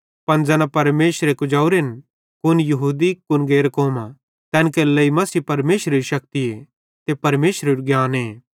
पन ज़ैना परमेशरे अपने लोक भोनेरे लेइ कुजोरेन कुन यहूदी कुन गैर कौमां तैन केरे लेइ मसीह परमेशरेरी शक्ति ते परमेशरेरू ज्ञाने